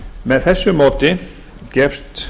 með þessu móti gefst